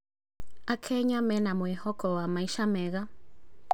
Akenya mena mwĩhoko wa maica mega.